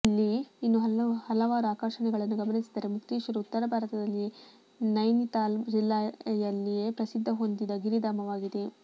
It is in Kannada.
ಇಲ್ಲಿ ಇನ್ನೂ ಹಲವಾರು ಆಕರ್ಷಣೆಗಳನ್ನು ಗಮನಿಸಿದರೆ ಮುಕ್ತೇಶ್ವರ ಉತ್ತರಭಾರತದಲ್ಲಿಯೇ ನೈನಿತಾಲ್ ಜಿಲ್ಲಾಯಲ್ಲಿಯೇ ಪ್ರಸಿದ್ಧಿ ಹೊಂದಿದ ಗಿರಿಧಾಮವಾಗಿದೆ